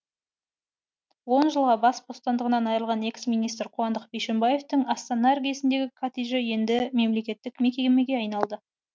он жылға бас бостандығынан айырылған экс министр қуандық бишімбаевтың астана іргесіндегі коттеджі енді мемлекеттік мекемеге айналады